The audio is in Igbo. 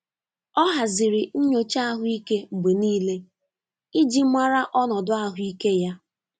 Ọ haziri nyocha ahụike mgbe niile iji mara ọnọdụ ahụike ya.